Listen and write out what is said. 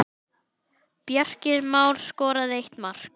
Bjarki Már skoraði eitt mark.